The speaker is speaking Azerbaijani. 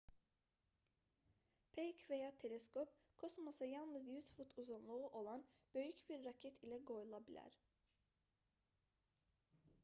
peyk və ya teleskop kosmosa yalnız 100 fut uzunluğu olan böyük bir raket ilə qoyula bilər